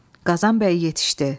Qazan bəy yetişdi.